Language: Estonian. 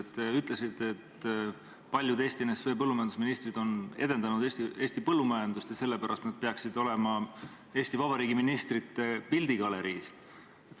Te ütlesite, et paljud Eesti NSV põllumajandusministrid edendasid Eesti põllumajandust ja sellepärast peaksid nad olema Eesti Vabariigi ministrite pildigaleriis.